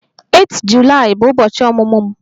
8 Julaị bụ ụbọchị ọmụmụ m